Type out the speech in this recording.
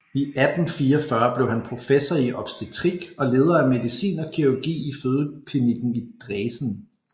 I 1844 blev han professor i obstetrik og leder af medicin og kirurgi i fødeklinikken i Dresen